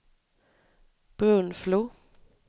Brunflo